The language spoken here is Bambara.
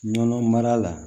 Nɔnɔ mara la